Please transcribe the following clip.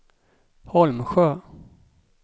Holmsjö